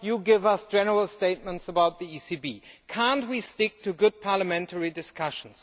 and you give us general statements about the ECB. Can we not stick to good parliamentary discussion?